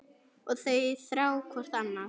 Og þau þrá hvort annað.